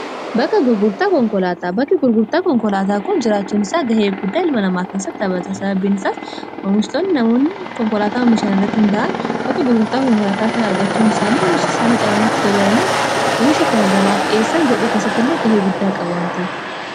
bakki gurgurtaa konkolaataa kun jiraachuun isaa gahee guddaa ilma namaa keessatti abataa sababbiinisaas hoomishtonni namoonni konkolaataa hoomishaan irratti hunda'al bakka gurgurtaa konkolaataa kan argachuun isaanii hoomisha isaanii caarmatti dabalani akka hoomisha kana gabaaf dhi'eessan godhuu keessatti illee gahee guddaa qaba wanteef